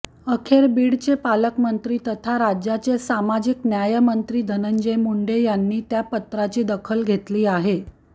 अखेर बीडचे पालकमंत्री तथा राज्याचे सामाजिक न्यायमंत्री धनंजय मुंडे यांनी त्या पत्राची दखल घेतली आहे